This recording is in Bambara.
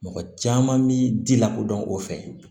Mɔgɔ caman bi di lakodɔn o fɛ